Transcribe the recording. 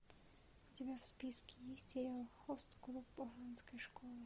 у тебя в списке есть сериал хост клуб оранской школы